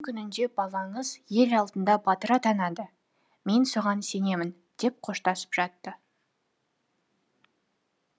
күнінде балаңыз ел алдында батыр атанады мен оған сенемін деп қоштасып жатты